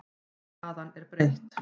Staðan er breytt.